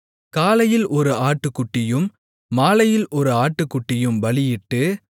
காலையில் ஒரு ஆட்டுக்குட்டியையும் மாலையில் ஒரு ஆட்டுக்குட்டியையும் பலியிட்டு